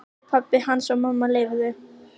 Ef pabbi hans og mamma leyfðu.